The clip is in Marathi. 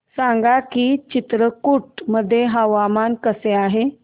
सांगा की चित्रकूट मध्ये हवामान कसे आहे